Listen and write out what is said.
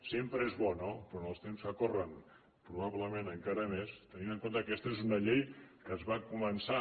sempre és bo no però en els temps que corren probablement encara més tenint en compte que aquesta és una llei que es va començar